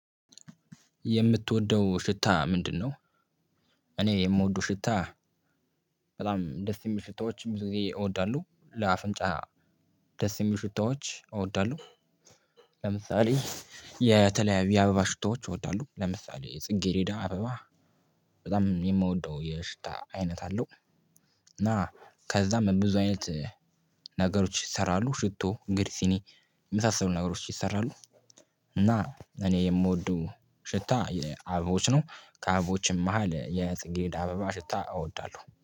የምትወደው ሽታ ምንድነው? እኔ የምወደው ሽታ በጣም ደስ የሚል ሽታዎችም ብዙ ጊዜ እወዳለሁ ለአፍንጫ ደስ የሚል ሽታዎች እወዳለሁ። ለምሳሌ የተለያዩ የአበባ ሽታዎች እወዳለሁ ለምሳሌ ጽጌሬዳ አበባ በጣም የምወደው የሽታ አይነት አለው። እና ከዛም በብዙ አይነት ነገሮች ይሰራሉ ሽቶ እንግዲህ ሲኒ የመሳሰሉ ነገሮች ይሰራሉ። እና እኔ የምወደው ሽታ የአበቦች ነው። ከአበቦችም መሃል የጽጌድ አበባ ሽታ እወዳለሁ